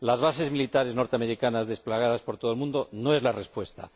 las bases militares norteamericanas desplegadas por todo el mundo no son la respuesta.